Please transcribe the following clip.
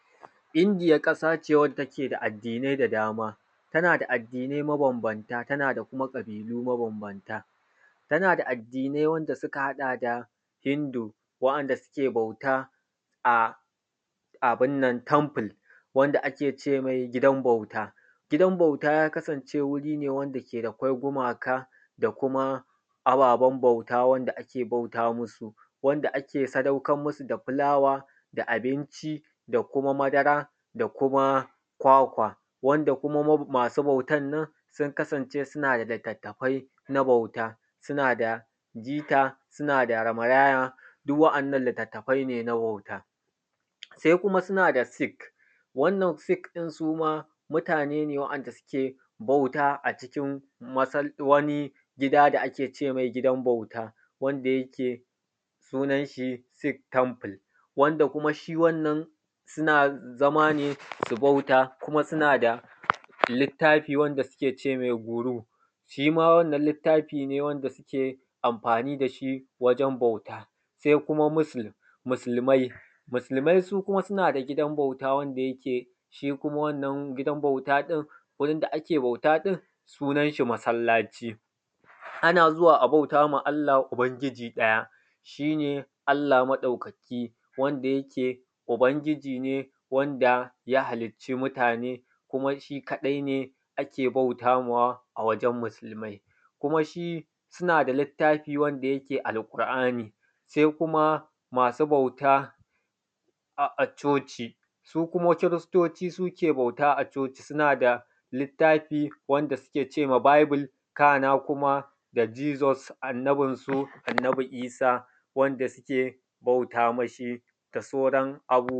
Indiya ƙasa ce wanda ke da addinai da dama tana da addinai mabanbanta da kuma ƙabilu mabambanta tana da addinai wanda suka haɗa da hindu wanda suke bauta a abin nan wanda ake ce me gidan bauta. Gidan bauta ya kasance wuri ne wanda akwai gumaka da kuma ababen bauta wanda ake bauta musu wanda ake sadaukar musu da fulawa da abinci da kuma madara da kuma kwakwa wanda kuma masu bautan nan sun kasance suna da litattafai na bauta suna da jika suna da rama yaya duk wa’yannan litattafai ne na bauta. Se kuma suna da sik wannan sik ɗin su ma mutane wanda suke bauta a cikin wani gida wanda ake ce me gidan bauta wanda yake sunan shi sik tample wanda shi kuma wannan suna zama ne su bauta kuma suna da littafi wanda suke ce me Guruh, shi ma wannan littafi ne wanda suke amfani da shi wajen bauta. Se kuma muslim, musulmai su kuma suna da gidan bauta wanda yake shi ne masallaci, ana zuwa a bauta ma Allah ubangiji ɗaya shi ne Allah maɗaukaki wanda yake ubangiji ne wanda ya halicci mutane kuma shi kaɗai ake bautamawa, a wajen musulmai kuma shi suna da littafi wanda take Alƙur’an. Se kuma masu bauta a coci su kuma kiristoci, su suke bauta a coci suna da littafi wanda suke ce ma Baybul kana kuma da Jisus annabinsu, annabi Isah wanda suke bauta mishi da sauran abubuwa.